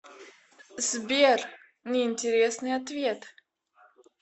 сбер неинтересный ответ